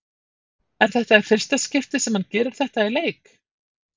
Er þetta í fyrsta skipti sem hann gerir þetta í leik?